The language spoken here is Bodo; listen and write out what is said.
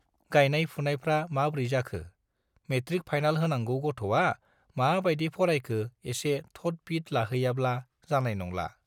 गायनाय-फुनायफ्रा माब्रै जाखो, मेट्रिक फाइनाल होनांगौ गथ'आ मा बाइदि फरायखो एसे थद-बिद लाहैयाब्ला जानाय नंला।